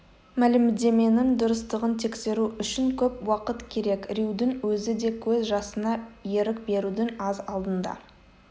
мәлімдеменің дұрыстығын тексеру үшін көп уақыт керек рьюдің өзі де көз жасына ерік берудің аз алдында